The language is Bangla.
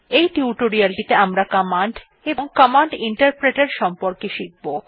এই টিউটোরিয়ালেটিতে আমরা কমান্ড এবং কমান্ড ইন্টারপ্রেটের সম্পর্কে শিখব